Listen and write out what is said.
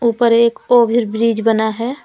ऊपर एक over bridge बना है।